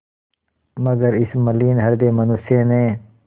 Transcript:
मगर इस मलिन हृदय मनुष्य ने